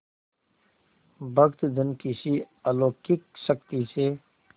भक्तजन किसी अलौकिक शक्ति से